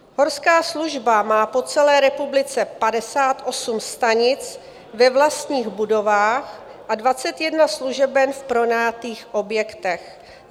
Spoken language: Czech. Horská služba má po celé republice 58 stanic ve vlastních budovách a 21 služeben v pronajatých objektech.